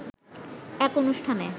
এক অনুষ্ঠানে